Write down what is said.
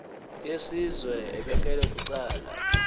yesizwe ebekelwe bucala